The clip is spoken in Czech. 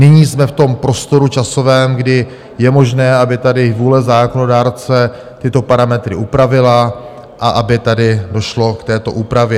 Nyní jsme v tom prostoru časovém, kdy je možné, aby tady vůle zákonodárce tyto parametry upravila a aby tedy došlo k této úpravě.